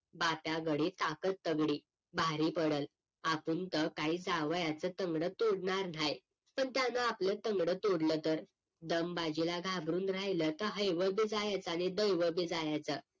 बात्या गडी ताकत तगडी भारी पडल आपुन तर काय जावयाचं तंगड तोडणार न्हाय पण त्याने आपलं तंगड तोडलं तर दमबाजीला घाबरून राहिलं तर हायव बी जायचं आणि दयव बी जायचं